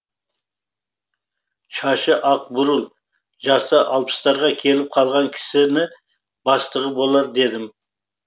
шашы ақ бурыл жасы алпыстарға келіп қалған кісіні бастығы болар дедім